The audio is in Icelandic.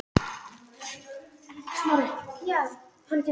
hvílík andhverfa við allan hégóma okkar hversdagslegu annsemdar!